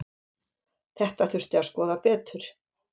Þetta þurfi að skoða betur.